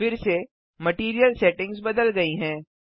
फिर से material settings बदल गयी हैं